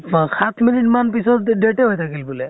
সাত minute মানৰ পিছত death য়ে হৈ থাকিল বোলে।